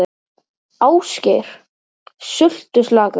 Ásgeir: Sultuslakur?